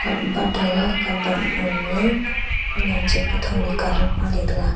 conbat thaga conbat ma gaga kunyan cha kutho ni colat pale taga.